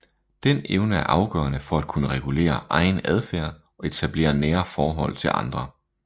Den evne er afgørende for at kunne regulere egen adfærd og etablere nære forhold til andre